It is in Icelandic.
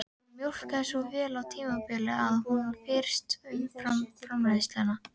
Hún mjólkaði svo vel á tímabili að hún frysti umfram-framleiðsluna